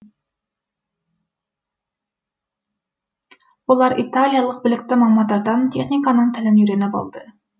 олар италиялық білікті мамандардан техниканың тілін үйреніп алды